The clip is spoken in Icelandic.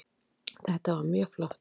Þetta var mjög flott